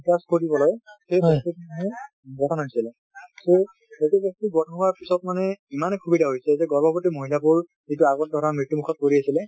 গঠন হৈছিলে , তো সেইটো বস্তু গঠন হোৱাৰ পিছত মানে ইমানে সুবিধা হৈছে যে গৰ্ভৱতী মহিলা বোৰ যিটো আগত ধৰা মৃত্যমুখত পৰি আছিলে,